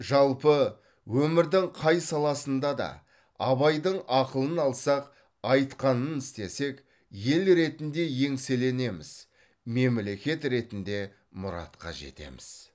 жалпы өмірдің қай саласында да абайдың ақылын алсақ айтқанын істесек ел ретінде еңселенеміз мемлекет ретінде мұратқа жетеміз